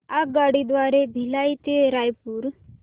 आगगाडी द्वारे भिलाई ते रायपुर